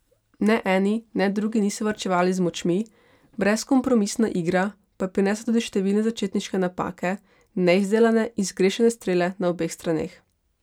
Ne eni ne drugi niso varčevali z močmi, brezkompromisna igra pa je prinesla tudi številne začetniške napake, neizdelane in zgrešene strele na obeh straneh.